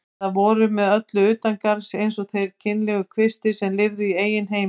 Eða voru með öllu utangarðs eins og þeir kynlegu kvistir sem lifðu í eigin heimi.